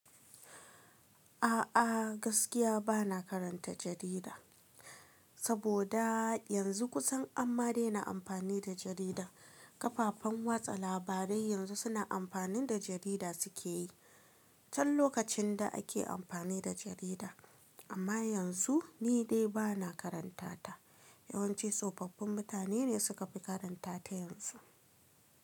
A'a gaskiya bana karanta jarida, saboda yanzu kusan amma dai na amfani da jarida. Kafafen watsa labarai yanzu suna amfanin da jarida suke yi. Can lokacin da ake amfani da jarida amma yanzu ni dai bana karanta ta. Yawanci tsofaffin mutane ne suka fi karanta ta yanzu.